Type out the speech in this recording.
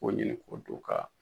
Ko ɲinin ko du ka.